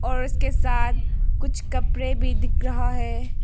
और उसके साथ कुछ कपड़े भी दिख रहा है।